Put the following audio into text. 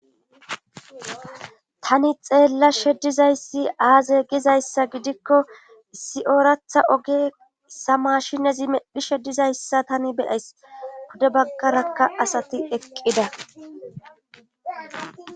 Tani xeellashe dizay aaze gizayssa gidikko issi ooratha oge dizayssa issi maashinezi medhishe dizayssa tani be7ays pude baggarakka asati eqqida.